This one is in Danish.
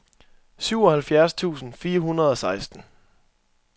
syvoghalvfjerds tusind fire hundrede og seksten